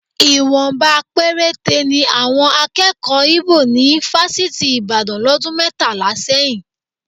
Ìwọ̀nba péréte ni àwọn akẹ́kọ̀ọ́ Íbò ní fásitì Ìbàdàn lọ́dún mẹ́tàlá sẹ́yìn